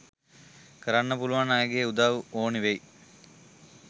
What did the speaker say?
කරන්න පුළුවන් අයගෙ උදව් ඕන වෙයි..